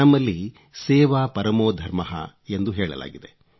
ನಮ್ಮಲ್ಲಿ ಸೇವಾ ಪರಮೋ ಧರ್ಮಃ ಎಂದು ಹೇಳಲಾಗಿದೆ